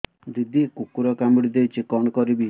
ଦିଦି କୁକୁର କାମୁଡି ଦେଇଛି କଣ କରିବି